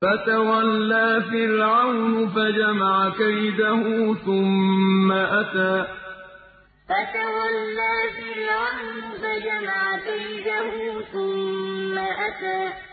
فَتَوَلَّىٰ فِرْعَوْنُ فَجَمَعَ كَيْدَهُ ثُمَّ أَتَىٰ فَتَوَلَّىٰ فِرْعَوْنُ فَجَمَعَ كَيْدَهُ ثُمَّ أَتَىٰ